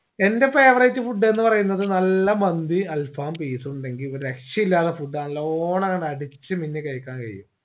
എന്റെ favorite food ന്ന് പറയുന്നത് നല്ല മന്തി alfaham piece ഉണ്ടെങ്കി ഒരു രക്ഷയില്ലാത്ത food ആണ് നല്ലോണങ്ങന അടിച്ച് നിന്ന് കഴിക്കാൻ കയ്യും